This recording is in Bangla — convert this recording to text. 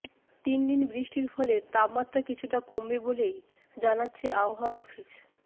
তিনদিন বৃষ্টির ফলে তাপমাত্রা কিছুটা কমবে বলেই জানাচ্ছে হাওয়া অফিস